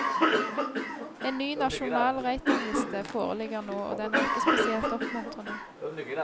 En ny nasjonal ratingliste foreligger nå, og den er ikke spesielt oppmuntrende.